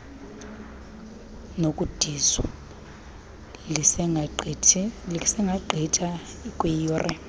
nokudizwa lisengagqitha kwiiyure